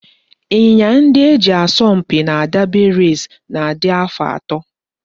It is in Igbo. Ịnyịnya ndị e ji asọ mpi na derby race na-adị afọ atọ